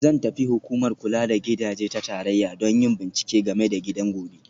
Zan tafi Hukumar Kula da Gidaje ta Tarayya don yin bincike game da gidan gobe